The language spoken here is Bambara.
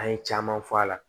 An ye caman fɔ a la